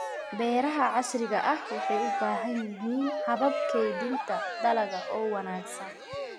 Beeraha casriga ahi waxay u baahan yihiin habab kaydinta dalagga oo wanaagsan.